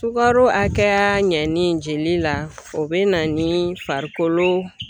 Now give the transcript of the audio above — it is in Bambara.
Sukaro hakɛya ɲɛnin jeli la o bɛna ni farikolo